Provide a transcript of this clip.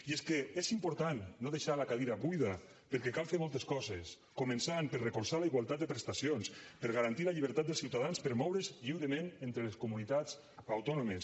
i és que és important no deixar la cadira buida perquè cal fer moltes coses començant per recolzar la igualtat de prestacions per garantir la llibertat dels ciutadans per moure’s lliurement entre les comunitats autònomes